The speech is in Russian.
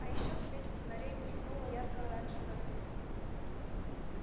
а ещё в свете фонарей мелькнула ярко-оранжевая куртка